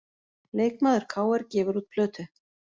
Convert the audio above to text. Leikmaður KR gefur út plötu